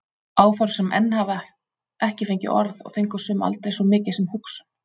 Áform sem enn hafa ekki fengið orð og fengu sum aldrei svo mikið sem hugsun.